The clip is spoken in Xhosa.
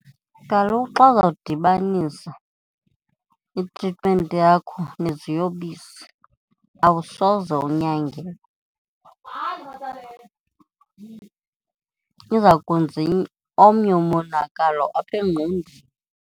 Kaloku xa uza kudibanisa itritimenti yakho neziyobisi, awusoze unyangeke izakwenza omnye umonakalo apha engqondweni.